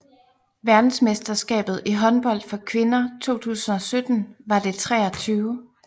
Verdensmesterskabet i håndbold for kvinder 2017 var det 23